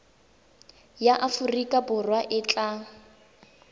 ya aforika borwa e tla